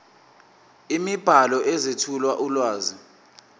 imibhalo ezethula ulwazi